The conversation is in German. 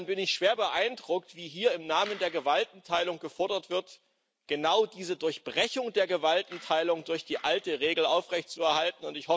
Insofern bin ich schwer beeindruckt, wie hier im Namen der Gewaltenteilung gefordert wird, genau diese Durchbrechung der Gewaltenteilung durch die alte Regel aufrechtzuerhalten.